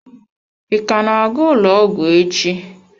Ị ka na-aga ụlọ ọgwụ echi?